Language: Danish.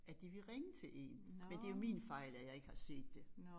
At de ville ringe til én men det jo min fejl at jeg ikke har set det